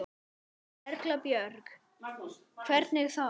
Erla Björg: Hvernig þá?